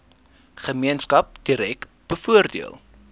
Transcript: gemeenskap direk bevoordeel